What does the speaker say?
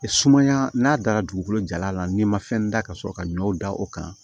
Sumaya n'a dara dugukolo jalan na n'i ma fɛn da ka sɔrɔ ka ɲɔ da o kan